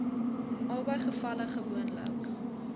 albei gevalle gewoonlik